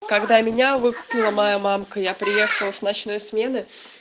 когда меня выкупила моя мамка я приехала с ночной смены